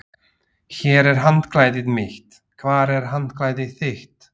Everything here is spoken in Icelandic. Hér er handklæðið mitt. Hvar er handklæðið þitt?